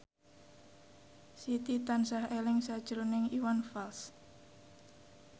Siti tansah eling sakjroning Iwan Fals